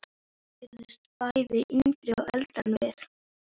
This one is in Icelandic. Hún virtist bæði yngri og eldri en við.